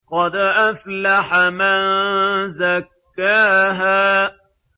قَدْ أَفْلَحَ مَن زَكَّاهَا